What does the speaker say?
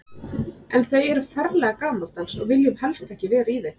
En þau eru ferlega gamaldags og við viljum helst ekki vera í þeim.